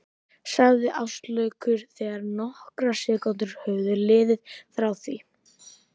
sagði Áslákur þegar nokkrar sekúndur höfðu liðið frá því